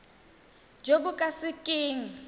jo bo ka se keng